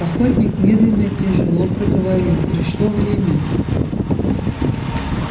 охотник медленно и тяжело проговорил пришло время